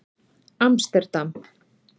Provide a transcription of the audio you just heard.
Amsterdam